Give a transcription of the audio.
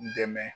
Dɛmɛ